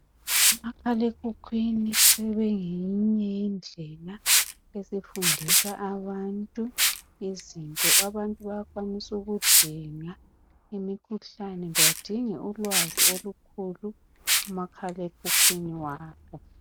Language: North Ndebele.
Umakhalekhukhwini sebengeyinye yendlela yokufundisa abantu izinto. Abantu bayakwanisa ukudinga imikhuhlane badinge ulwazi olukhulu kumakhalekhukhwini wabo.